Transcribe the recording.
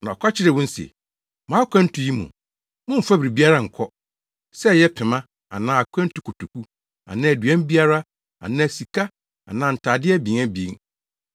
Na ɔka kyerɛɛ wɔn se, “Mo akwantu yi mu, mommfa biribiara nnkɔ, sɛ ɛyɛ pema anaa akwantukotoku, anaa aduan biara, anaa sika, anaa ntade abien abien.